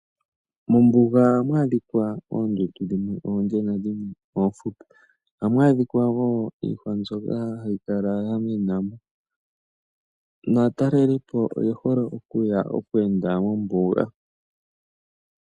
Mombuga ohamu adhikwa oondundu dhimwe oonde nadhimwe oofupi, ohamu adhikwa woo iihwa mbyoka hayi adhikwa yamenamo, naatalelipo oyehole okuya okweenda mombuga.